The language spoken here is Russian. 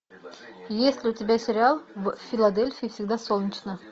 есть ли у тебя сериал в филадельфии всегда солнечно